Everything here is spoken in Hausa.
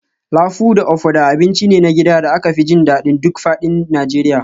Lafu da ofada abinci ne na gida da aka fi jin daɗin duk faɗin Najeriya